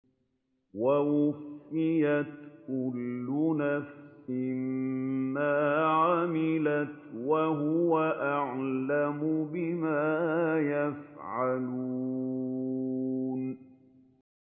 وَوُفِّيَتْ كُلُّ نَفْسٍ مَّا عَمِلَتْ وَهُوَ أَعْلَمُ بِمَا يَفْعَلُونَ